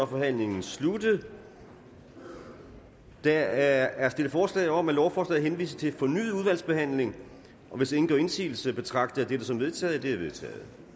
forhandlingen sluttet der er stillet forslag om at lovforslaget henvises til fornyet udvalgsbehandling hvis ingen gør indsigelse betragter jeg dette som vedtaget